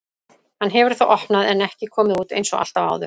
Hann hefur þá opnað en ekki komið út einsog alltaf áður.